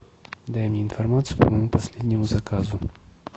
дай мне информацию по моему последнему заказу